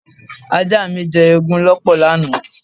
Ajá mi jẹ́ eegun lọ́pọ̀ lánàá.